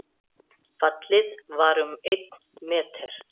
Fallið var um einn meter